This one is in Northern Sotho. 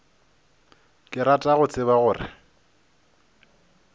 ke rata go tseba gore